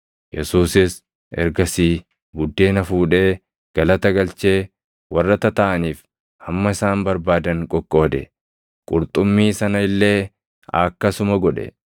Yesuusis ergasii buddeena fuudhee, galata galchee warra tataaʼaniif hamma isaan barbaadan qoqqoode. Qurxummii sana illee akkasuma godhe.